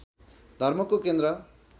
धर्मको केन्द्र